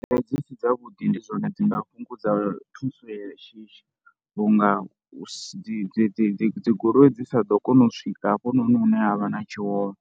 Bada dzi si dzavhuḓi ndi dzone dzine dzi nga fhungudza thuso ya shishi vhu nga dzi dzi dzi dzi dzi goloi dzi sa ḓo kona u swika hafhanoni hune ha vha na tshiwo hone.